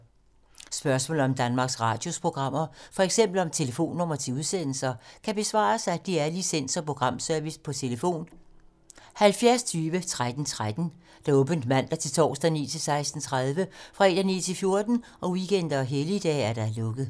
Spørgsmål om Danmarks Radios programmer, f.eks. om telefonnumre til udsendelser, kan besvares af DR Licens- og Programservice: tlf. 70 20 13 13, åbent mandag-torsdag 9.00-16.30, fredag 9.00-14.00, weekender og helligdage: lukket.